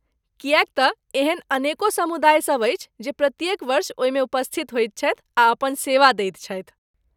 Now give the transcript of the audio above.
किएक तँ एहन अनेको समुदायसभ अछि जे प्रत्येक वर्ष ओहिमे उपस्थित होइत छथि आ अपन सेवा दैत छथि।